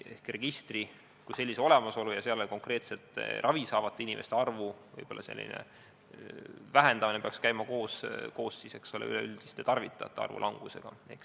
Registri kui sellise olemasolu võimaldab konkreetselt ravi saavate inimeste arvu teada ja selle arvu vähendamine peaks käima koos üleüldise tarvitajate arvu langusega.